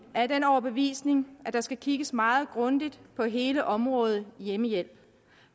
er af den overbevisning at der skal kigges meget grundigt på hele området hjemmehjælp